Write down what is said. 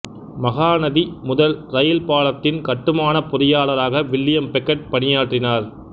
மகாநதி முதல் இரயில் பாலத்தின் கட்டுமானப் பொறியாளராக வில்லியம் பெக்கெட் பணியாற்றினார்